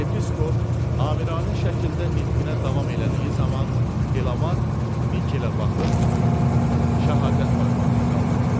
Yepiskop amiranə şəkildə nitqinə davam elədiyi zaman Delamark Nikelə baxıb şəhadət barmağını qaldırdı.